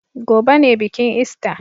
Gobe ne bikin ista.